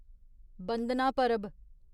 बंदना परब